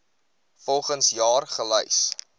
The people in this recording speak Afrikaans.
volgens jaar gelys